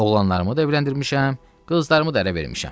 Oğlanlarımı evləndirmişəm, qızlarımı da ərə vermişəm.